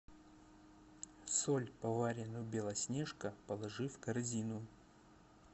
соль поваренную белоснежка положи в корзину